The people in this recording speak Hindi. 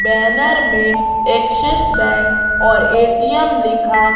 बैनर में एक्सिस बैंक और ए_टी_एम लिखा--